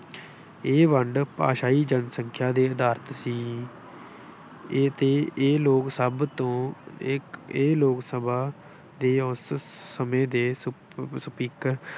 ਇਹ ਵੰਡ ਭਾਸ਼ਾਈ ਜਨਸੰਖਿਆ ਦੇ ਆਧਾਰਿਤ ਸੀ। ਇਹ ਤੇ ਇਹ ਲੋਕ ਸਭ ਤੋਂ ਇਹ ਲੋਕ ਸਭਾ ਦੇ ਉਸ ਸਮੇਂ ਦੇ speaker